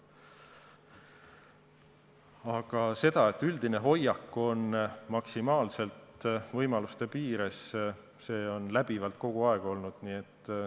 Kuid see, et üldine hoiak on tegutsemine maksimaalselt võimaluste piires, on kogu aeg nii olnud.